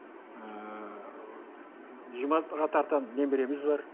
ыыы жиырма алтыға тарта немереміз бар